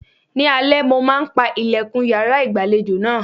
Ni alẹ́, mo máa ń pa ìlẹ̀kùn yàrá ìgbàlejò náà.